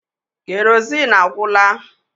Kerozin agwụla